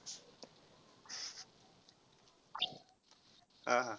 हा हा.